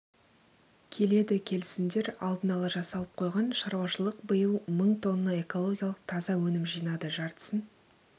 келеді келісімдер алдын ала жасалып қойған шаруашылық биыл мың тонна экологиялық таза өнім жинады жартысын